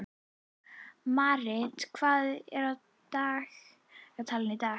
Marit, hvað er á dagatalinu í dag?